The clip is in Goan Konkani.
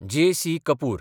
जे.सी. कपूर